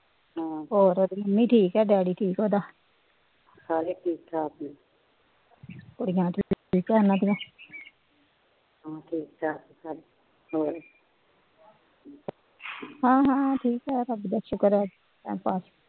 ਹਾ ਹਾ ਠੀਕੇ ਰੱਬ ਦਾ ਸ਼ੁਕਰ ਏ